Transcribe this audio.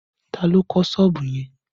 Ta ló kọ́ sọ́ọ̀bù yẹn?